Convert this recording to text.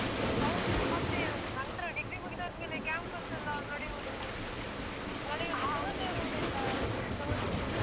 ಹೌದು ಮತ್ತೆ ನಂತ್ರ degree ಮುಗಿದಾದ್ಮೇಲೆ campus ಯೆಲ್ಲಾ ನಡೆಯುದು ನಡೆಯುದು. ಸಮಸ್ಯೆ ಆಯ್ತು.